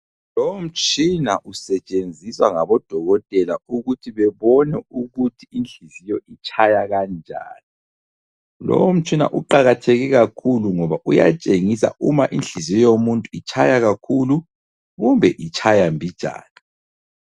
Lowo mtshina usetshenziswa ngabodokotela ukuthi bebone ukuthi inhliziyo itshaya kanjani. Lowo mtshina uqakatheke kakhulu ngoba uyatshengisa uma inhliziyo yomuntu itshaya kakhulu kumbe itshaya mbijana.